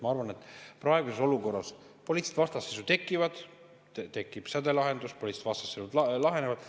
Ma arvan, et praeguses olukorras poliitilised vastasseisud tekivad, tekib sädelahendus, poliitilised vastasseisud lahenevad.